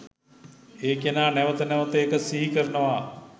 ඒ කෙනා නැවත නැවත ඒක සිහි කරනවා.